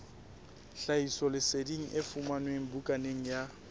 tlhahisoleseding e fumanwe bukaneng ya